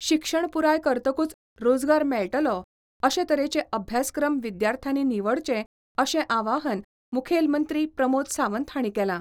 शिक्षण पुराय करतकूच रोजगार मेळटलो अशें तरेचे अभ्यासक्रम विद्यार्थ्यांनी निवडचे अशे आवाहन मुखेल मंत्री प्रमोद सावंत हांणी केलां.